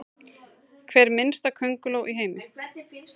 Hver minnsta könguló í heimi?